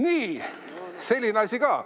Nii, selline asi ka.